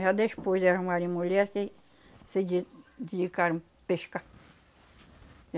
Já despois de arrumarem mulher que se de dedicaram pescar.